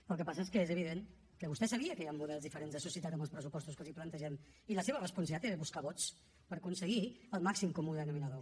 però el que passa és que és evident que vostè sabia que hi han models diferents de societat amb els pressupostos que els plantegem i la seva responsabilitat era buscar vots per aconseguir el màxim comú denominador